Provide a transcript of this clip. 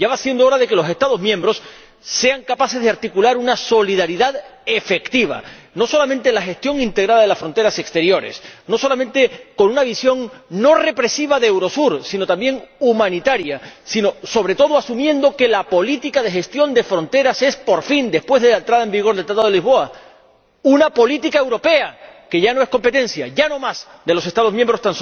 Ya va siendo hora de que los Estados miembros sean capaces de articular una solidaridad efectiva, no solamente en la gestión integrada de las fronteras exteriores, no solamente con una visión no represiva de Eurosur, sino también humanitaria, sobre todo asumiendo que la política de gestión de fronteras es, por fin, después de la entrada en vigor del Tratado de Lisboa, una política europea y que ya no es competencia tan solo de los Estados miembros.